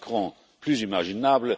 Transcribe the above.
Macron plus imaginable